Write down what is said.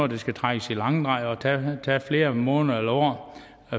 der skal trækkes i langdrag og tage flere måneder eller år